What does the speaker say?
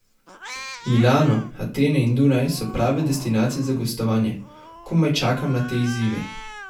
Milano, Atene in Dunaj so prave destinacije za gostovanja, komaj čakam na te izzive.